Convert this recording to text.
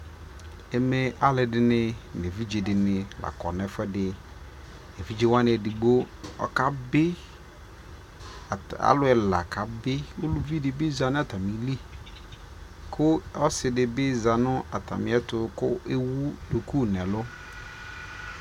ɛmɛ alʋɛdini nʋ ɛvidzɛ dinilakɔ nʋ ɛƒʋɛdi, ɛvidzɛ wani ɛdigbɔ ɔka bi, alʋ ɛla kabi, ʋlʋvi dibi zanʋ atamili kʋ ɔsii dibi zanʋ atami ɛtʋ kʋ ɛwʋ dʋkʋ nʋ ɛlʋ